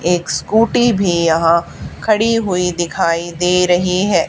एक स्कूटी भीं यहाँ खड़ी हुई दिखाई दे रहीं हैं।